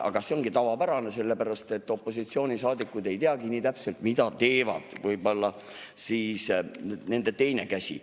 Aga see ongi tavapärane, sellepärast et opositsioonisaadikud ei teagi nii täpselt, mida teeb nende teine käsi.